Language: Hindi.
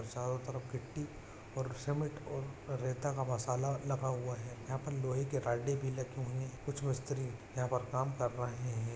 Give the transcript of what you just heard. चारों तरफ गिट्टी और सीमेंट और रेता का मसाला लगा हुआ है यहाँ पे लोहे की राडे भी लगी हुई है कुछ मिस्त्री यहाँ पर काम कर रहे हैं।